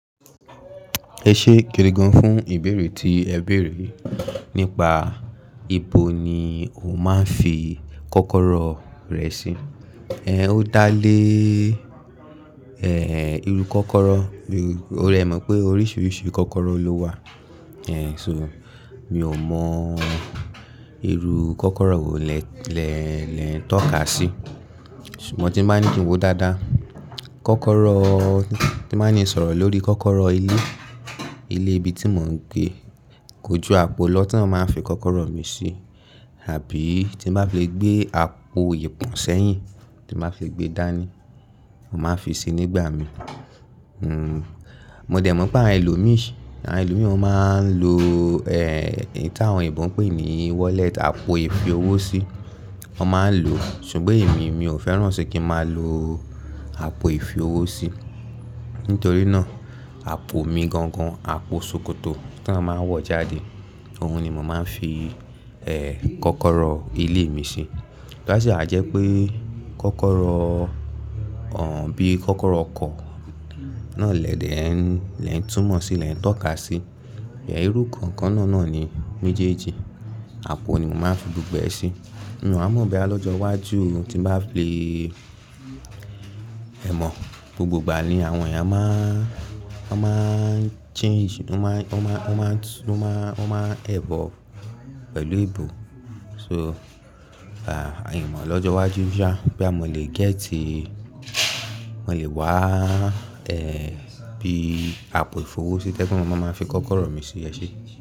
Ẹ ṣe gidigan fún ìbéèrè tí ẹ béèrè. Nípa ibo ni o máa ń fi kọ́kọ́rọ́ rẹ sí? Ẹ̀h, ó dá lé, ẹ́h, irú kọ́kọ́rọ́, o ẹ mọ̀ pé oríṣiríṣi kọ́kọ́rọ́ ló wà. Ẹ̀h, so mi ò mọ irú kọ́kọ́rọ́ wo lè, lè, lè ń tọ́ka sí. Ṣùgbọ́n tí n ba ni kín wó dáadáa, kọ́kọ́rọ́ tí máa ń ní sọ̀rọ̀ lórí kọ́kọ́rọ́ ilé, ilé ibi tí mò ń gbé, kò ju àpò lọ tán màá ń fi kọ́kọ́rọ́ mi sí. Àbí tí n bá fi le gbé àpò ìpọ̀n sẹ́yìn tí bá fi gbe dání, màá fi sí nígbà mí. Hmm, mo dẹ̀ mọ̀ pé àwọn ẹlòmíì, àwọn ẹlòmíì wọn ń lo, ẹ́h, ìta àwọn ìbọn pé ní wallet, àpò ìfi owó sí. Wọ́n máa ń lò. Ṣùgbọ́n èmi, mi ò fẹ́ràn sí kí máa lo àpò ìfi owó sí. Nítorí náà, àpò mi gangan, àpò ṣòkòtò tí wọ́n máa ń wọ̀ jáde, òun ni mò máa ń fi, ẹ́h, kọ́kọ́rọ́ ilé mi sí. Láṣẹ àjẹ́ pé kọ́kọ́rọ́, ọ̀h, bí kọ́kọ́rọ́ ọkọ̀ náà lẹ̀ dẹ ẹn, lẹ ń túmọ̀ sí, lẹ ń tọ́ka sí. Ẹ̀h, irú kankan náà náà ni méjèèjì. Àpò ni mò máa ń fi gbogbo ẹ sí. Mo à mọ̀ bóyá lọ́jọ́ iwájú o tí bá fi le, ẹ mọ̀ gbogbo ìgbà ni àwọn ẹ̀yà máa ń, wọ́n máa ń change, wọ́n máa, wọ́n máa, wọ́n máa, wọ́n máa evolve pẹ̀lú ìbò. So, à, a yàn mọ̀ lọ́jọ́ iwájú ṣá, boya mọ́ lè gẹ̀ tí mo lè wá, ẹ́h, bí àpò ìfi owó sí tẹ́ kí mò máa máa fi kọ́kọ́rọ́ mi sí ẹ ṣe.